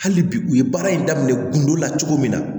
Hali bi u ye baara in daminɛ kundo la cogo min na